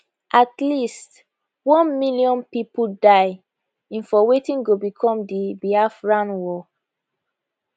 at least one million pipo die in for wetin go become di biafran war